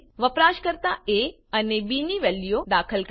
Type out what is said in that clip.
વપરાશકર્તા એ અને બી ની વેલ્યુઓ દાખલ કરશે